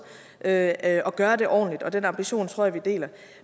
at at gøre det ordentligt og den ambition tror jeg vi deler